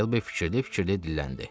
Mister Şelbi fikirli-fikirli dilləndi.